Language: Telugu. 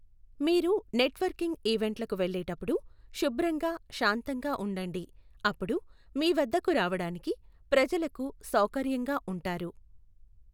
మీరు నెట్వర్కింగ్ ఈవెంట్లకు వెళ్ళేటప్పుడు శుభ్రంగా శాంతంగా ఉండండి. అప్పుడు మీవద్దకు రావడానికి ప్రజలకు సౌకర్యంగా ఉంటారు.